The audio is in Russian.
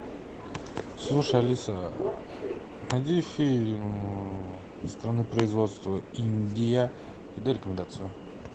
слушай алиса найди фильм страны производства индия и дай рекомендацию